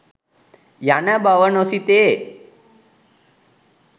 යන බව නොසිතේ.